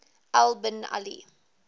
al bin ali